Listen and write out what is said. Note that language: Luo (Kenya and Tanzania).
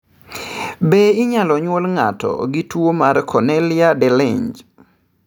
Be inyalo nyuol ng'ato gi tuwo mar Cornelia de Lange?